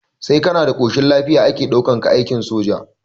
Sai kana da ƙoshin lafiya ake ɗaukar ka aikin soja